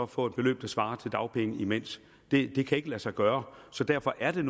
få et beløb der svarer til dagpenge imens det kan ikke lade sig gøre så derfor er det